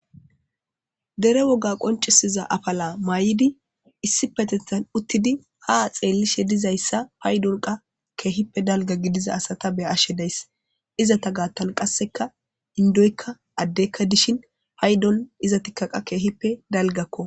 Dere woga qonccisiza afala mayidi issippetetan uttidi ha xeellishe dizayssa paydonkka keehippe dalgga gidiza asata be'ashe de'ays. Izeta gaatan qassekka inddoykka addeykka dishin paydonkka izettikka qa keehippe dalggakko.